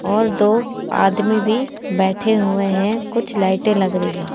और दो आदमी भी बैठे हुए हैं कुछ लाइटे लग रही है।